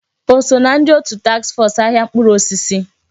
O so ná ndị òtù taks fọs ahịa mkpụrụ osisi?